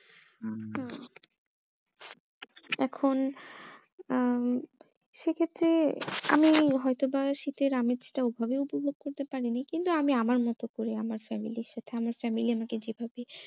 হম এখন আহ উম সেক্ষেত্রে আমি হয়তো বা শীতের আমিজটা ওভাবে উপভোগ করতে পারি নি কিন্তু আমি আমার মতো করে আমার family এর সাথে আমার family আমাকে যেভাবে